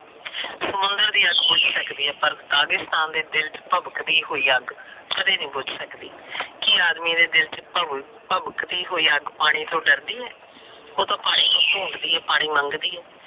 ਸਮੁੰਦਰ ਦੀ ਅੱਗ ਬੁਜ ਸਕਦੀ ਹੈ ਪਰ ਦਾਗਿਸਥਾਨ ਦੇ ਦਿਲ ਚ ਭਬਕਦੀ ਹੋਈ ਅੱਗ ਕਦੇ ਨਹੀ ਭੁਜ ਸਕਦੀ। ਕੋ ਆਦਮੀ ਦੇ ਦਿਲ ਵਿਚ ਭਬਕਦੀ ਹੋਈ ਅੱਗ ਪਾਣੀ ਤੋ ਡਰਦੀ ਹੈ? ਉਹ ਤੇ ਪਾਣੀ ਨੂੰ ਡੂੰਡਦੀ ਹੈ। ਪਾਣੀ ਮੰਗਦੀ ਹੈ।